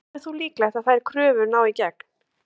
Telur þú líklegt að þær kröfur nái í gegn?